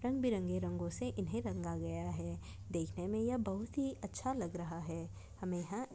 रंग बिरंगे रंगोंसे इन्हे रंगा गया है देखने मे यह बहुत ही अच्छा लग रहा है हमे यहाँ--